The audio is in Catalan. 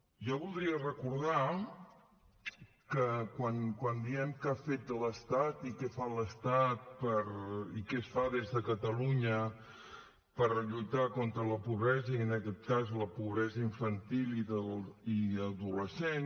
jo voldria recordar que quan diem què ha fet l’estat i què fa l’estat i què es fa des de catalunya per lluitar contra la pobresa i en aquest cas la pobresa infantil i adolescent